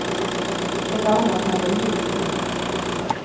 Ett annat hade en djup ton.